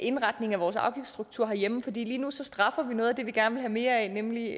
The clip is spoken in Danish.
indretning af vores afgiftsstruktur herhjemme for lige nu straffer vi noget af det vi gerne vil have mere af nemlig